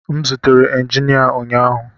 M zutere injinia ụnyaahụ